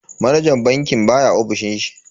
Manajan bankin baya ofishin shi.